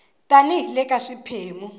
tani hi le ka xiphemu